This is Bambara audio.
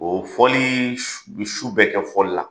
O fɔli bɛ su bɛ kɛ fɔli la!